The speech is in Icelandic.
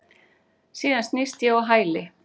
Síðan snýst ég á hæli.